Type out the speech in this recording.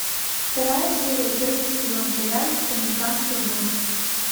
вторая серия первый сезон сериальчик американские боги